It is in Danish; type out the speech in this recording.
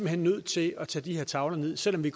hen nødt til at tage de her tavler ned selv om vi